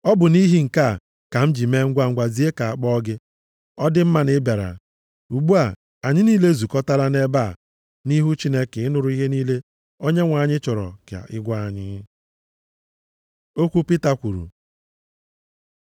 Ọ bụ nʼihi nke a ka m ji mee ngwangwa zie ka a kpọọ gị. Ọ dị mma na ị bịara. Ugbu a, anyị niile ezukọtala nʼebe a nʼihu Chineke ịnụrụ ihe niile Onyenwe anyị chọrọ ka ị gwa anyị.” Okwu Pita kwuru